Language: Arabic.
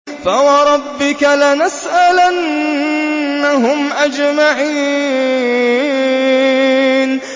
فَوَرَبِّكَ لَنَسْأَلَنَّهُمْ أَجْمَعِينَ